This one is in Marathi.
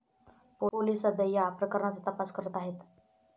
पोलिस सध्या या प्रकरणाचा तपास करत आहेत.